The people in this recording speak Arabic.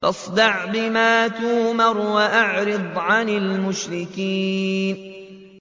فَاصْدَعْ بِمَا تُؤْمَرُ وَأَعْرِضْ عَنِ الْمُشْرِكِينَ